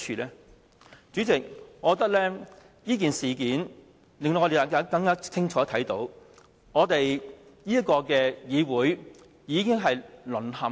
代理主席，我覺得這件事件令我們更清楚看到議會已經淪陷。